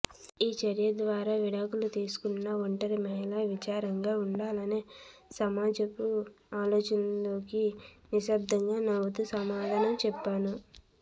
ఈ చర్య ద్వారా విడాకులు తీసుకున్న ఒంటరి మహిళ విచారంగా ఉండాలనే సమాజపు ఆలోచనకి నిశ్శబ్దంగా నవ్వుతూ సమాధానం చెప్పాను